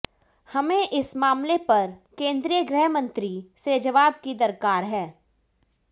हमें इस मामले पर केंद्रीय गृह मंत्री से जवाब की दरकार है